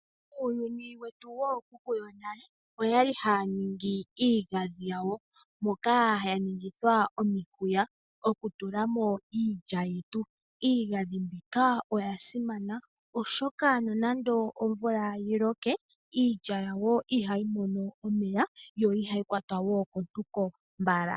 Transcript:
Uuyuni wetu wookuku yonale oyali haya ningi iigadhi yawo moka ya ningithwa omihuya okutulamo iilya yetu. Iigadhi mbika oya simana oshoka nonando omvula yi loke iilya yawo ihayi mono omeya, yo ihayi kwatwa wo kontuko mbala.